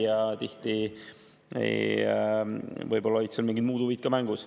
Ja tihti võib‑olla olid seal mingid muud huvid ka mängus.